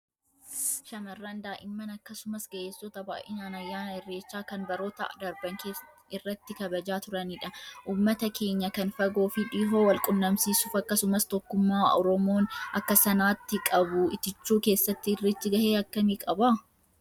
Shamarran, daa'imman akkasumas ga'eessota baay'inaan ayyaana irreechaa kan baroota darban irratti kabajaa turanidha. Ummata keenya kan fagoo fi dhihoo wal-qunnamsiisuuf akkasumas tokkummaa Oromoon akka sanaatti qabu itichuu keessatti irreechi gahee akkamii qaba?